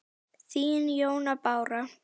Þín, Jóna Bára.